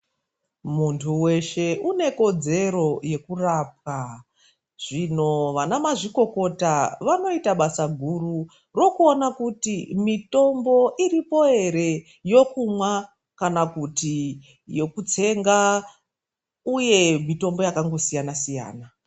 Muntu weshe une kodzero yekurapwa. Zvino vana mazvikokota vanoita basa guru rokuona kuti mitombo iripo ere yekumwa kana kuti yekutsenga uye mitombo yakangosiyana siyana.